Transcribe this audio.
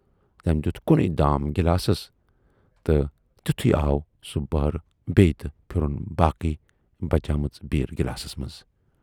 تمٔۍ دِٮُ۪ت کُنے دام گِلاسس تہٕ تِتھُے آو سُہ بہرٕ بییہِ تہٕ پھِرٕن باقٕے بچے مٕژ بیٖر گِلاسس منز۔